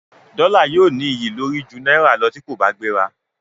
Dọ́là yóò ní iyì lórí ju náírà lọ tí kò bá gbéra.